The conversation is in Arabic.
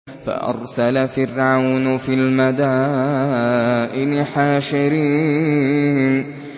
فَأَرْسَلَ فِرْعَوْنُ فِي الْمَدَائِنِ حَاشِرِينَ